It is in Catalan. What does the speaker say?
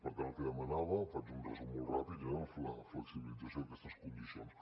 per tant el que demanava faig un resum molt ràpid era la flexibilització d’aquestes condicions